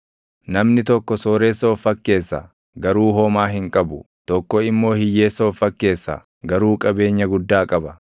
Namni tokko sooressa of fakkeessa; garuu homaa hin qabu; tokko immoo hiyyeessa of fakkeessa; garuu qabeenya guddaa qaba.